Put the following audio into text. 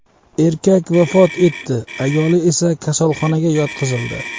Erkak vafot etdi, ayoli esa kasalxonaga yotqizildi.